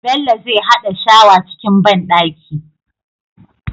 Bello zai hada shawa cikin banɗaki